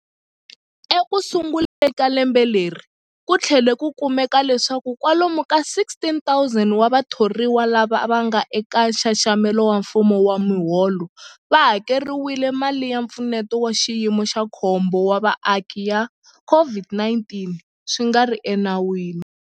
Ekusunguleni ka lembe leri, ku tlhele ku kumeka leswaku kwalomu ka 16,000 wa vathoriwa lava nga eka nxaxamelo wa mfumo wa miholo va hakeriwile mali ya Mpfuneto wa Xiyimo xa Khombo wa Vaaki ya COVID-19 swi nga ri enawini.